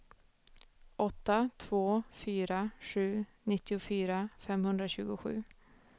åtta två fyra sju nittiofyra femhundratjugosju